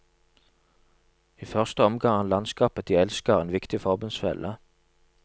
I første omgang er landskapet de elsker en viktig forbundsfelle.